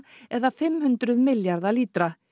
eða fimm hundruð milljarðar lítra